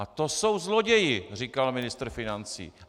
A to jsou zloději!, říkal ministr financí.